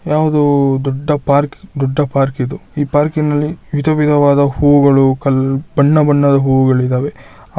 ಯಾವುದೊ ದೊಡ್ಡ ಪಾರ್ಕ್ ದೊಡ್ಡ ಪಾರ್ಕ್ ಇದು ಈ ಪಾರ್ಕ್ ನಲ್ಲಿ ವಿಧ್ ವಿಧವಾದ ಹೂಗಳು ಬಣ್ಣ ಬಣ್ಣದ ಹೂಗಳು ಇದಾವೆ.